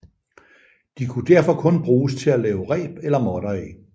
De kunne derfor kun bruges til at lave reb eller måtter af